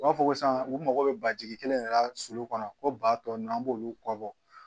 U b'a fɔ ko san u mago bɛ ba jigi kelen de la sulu kɔnɔ ko ba tɔ ninnu an b'olu kɔ bɔ